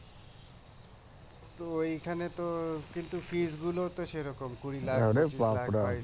তো ওইখানে তো কিন্তু ফি গুলো তো সেরকম কুড়ি লাখ পঁচিশ লাখ